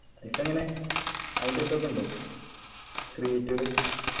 ഇപ്പൊ എങ്ങനെ അയിൻ്റെ ഇതൊക്കെ ഉണ്ടോ create കള്